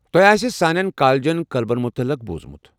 تۄہہ آسہ سٲنٮ۪ن کالجن کلبن متعلق بوٗزمُت۔